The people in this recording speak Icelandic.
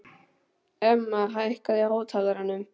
Emma, hækkaðu í hátalaranum.